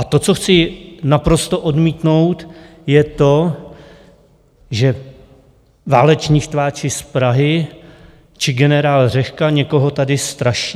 A to, co chci naprosto odmítnout, je to, že váleční štváči z Prahy či generál Řehka někoho tady straší.